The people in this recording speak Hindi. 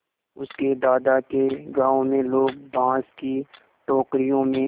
उसके दादा के गाँव में लोग बाँस की टोकरियों में